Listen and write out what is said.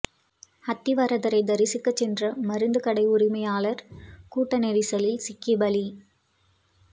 அத்தி வரதரை தரிசிக்க சென்ற மருந்து கடை உரிமையாளர் கூட்ட நெரிசலில் சிக்கி பலி